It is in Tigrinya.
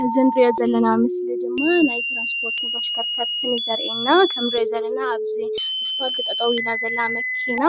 እዚ እንሪኦ ዘለና ምስሊ ድማ ናይ ትራንስፖርትን ተሽከርከርትን ምስሊ እዩ ዘርእየና። ከም እንሪኦ ዘለና ኣብዚ እስፋልቲ ጠጠው ኢላ ዘላ መኪና